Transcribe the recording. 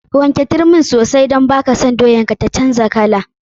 Wanke turmin sosai don baka son doyan ka ta canja kala.